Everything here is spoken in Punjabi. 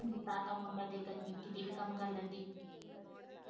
ਤਾਂ ਤੇ ਮੁੰਡਾ ਦੇ ਕੇ ਕਿਤੇ ਵੀ ਕੰਮ ਕਰ ਲੈਂਦੀ।